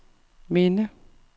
minde